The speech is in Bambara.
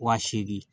Wa seegin